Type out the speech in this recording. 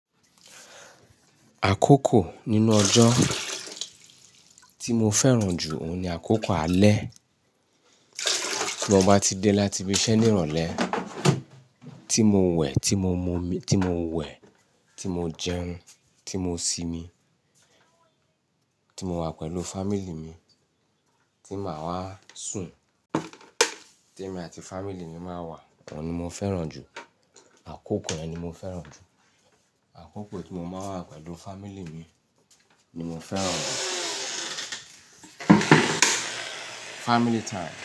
Àkókò nínú ọjọ́ tí mo fẹ́ràn jù, òun ni àkókò alẹ́. Bí mo bá ti dé láti ibi iṣẹ́ ní ìrọ̀lẹ́ tí mo wẹ̀, tí mo jẹun, tí mo sinmi, tí mo wà pẹ̀lú family mi, tí màá wá sùn, tí èmi àti family mi máa wà, òun ni mo fẹ́ràn jù. Àkókò yẹn ni mo fẹ́ràn jù. Àkókò tí mo máa ń wà pẹ̀lú family mi ni mo fẹ́ràn jù. Family time.